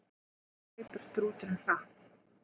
Hvað hleypur strúturinn hratt?